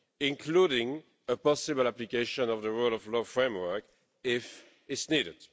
including a possible application of the rule of law framework if it's needed.